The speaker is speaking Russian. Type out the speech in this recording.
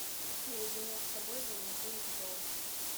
наедине с собой валентина титова